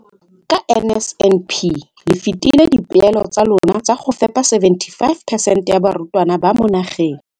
Ka NSNP le fetile dipeelo tsa lona tsa go fepa 75 percent ya barutwana ba mo nageng.